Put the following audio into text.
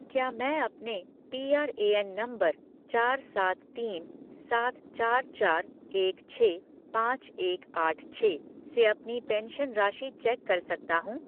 क्या मैं अपने पीआरएएन नंबर चार सात तीन सात चार चार एक छः पाँच एक आठ छः से अपनी पेंशन राशि चेक कर सकता हूँ?